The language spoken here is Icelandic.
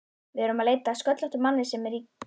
Við erum að leita að sköllóttum manni sem er klædd